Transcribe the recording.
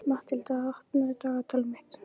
Matthilda, opnaðu dagatalið mitt.